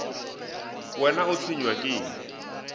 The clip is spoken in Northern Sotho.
wena o tshwenywa ke eng